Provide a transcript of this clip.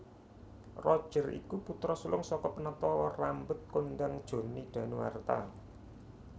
Roger iku putra sulung saka penata rambut kondhang Johnny Danuarta